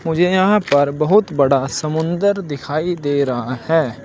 मुझे यहां पर बहुत बड़ा समुंदर दिखाई दे रहा है।